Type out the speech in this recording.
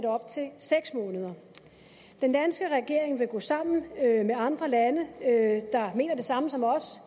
seks måneder den danske regering vil gå sammen med andre lande der mener det samme som os